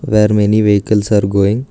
Where many vehicles are going.